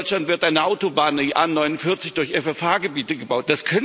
In Deutschland wird eine Autobahn, die A 49, durch FFH Gebiete gebaut.